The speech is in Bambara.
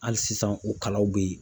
Hali sisan u kalaw beyi.